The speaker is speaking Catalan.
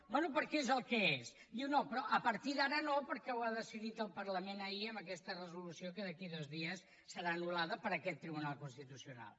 bé perquè és el que és diu no però a partir d’ara no perquè ho ha decidit el parlament ahir amb aquesta resolució que d’aquí a dos dies serà anul·lada per aquest tribunal constitucional